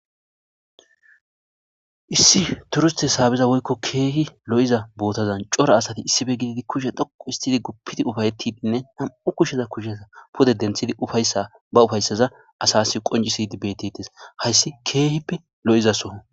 Issi turuste saabiza woyko keehi lo'iza bootazan cora asati issipe gididi kushe dhuqu histidi gupidi ufatidine nam'u kusheza pude denthidi ufaysa asasi qoncisishe beetetes haysi keehipe lo'izaso.